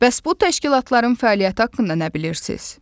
Bəs bu təşkilatların fəaliyyəti haqqında nə bilirsiz?